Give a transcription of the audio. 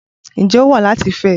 Ǹjẹ́ ó wù ọ́ láti fẹ́ ẹ?